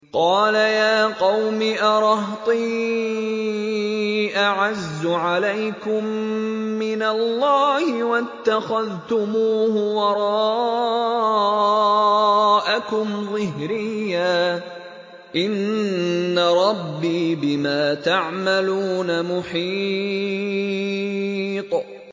قَالَ يَا قَوْمِ أَرَهْطِي أَعَزُّ عَلَيْكُم مِّنَ اللَّهِ وَاتَّخَذْتُمُوهُ وَرَاءَكُمْ ظِهْرِيًّا ۖ إِنَّ رَبِّي بِمَا تَعْمَلُونَ مُحِيطٌ